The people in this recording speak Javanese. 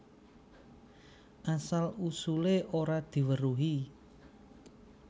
Asal usulé ora diweruhi